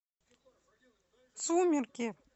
сумерки